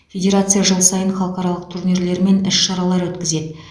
федерация жыл сайын халықаралық турнирлер мен іс шаралар өткізеді